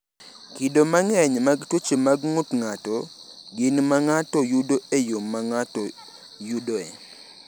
Kido mang’eny mag tuoche mag ng’ut ng’ato gin ma ng’ato yudo e yo ma ng’ato yudoe.